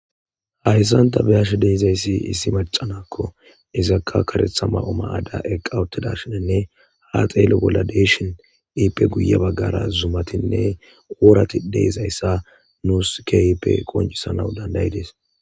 Haysan ta bea'she dizaysi issi maca naa'ko izaka karetha mayo mayada eqa utidashen ha xelo bolla dei'shi ippe hini bagara zumay burati dei'zaysa nus kehippe qoncusanaw dandae'tes.